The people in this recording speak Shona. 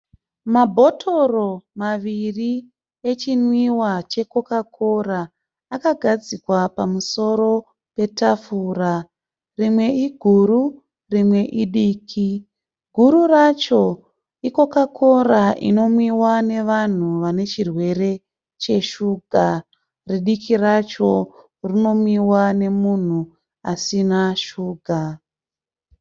Mabhotoro maviri echinwiwa cheCoca Cola. Akagadzikwa pamusoro petafura. Rimwe iguru rimwe idiki. Guru racho iCoca Cola inonwiwa nevanhu vane chirwere cheshuga. Ridiki racho rinomwiwa nemunhu asina shuga.